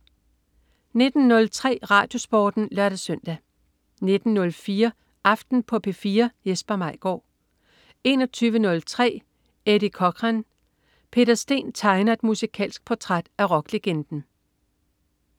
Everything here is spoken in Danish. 19.03 RadioSporten (lør-søn) 19.04 Aften på P4. Jesper Maigaard 21.03 Eddie Cochran. Peter Sten tegner et musikalsk portræt af rocklegenden